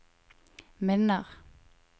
minner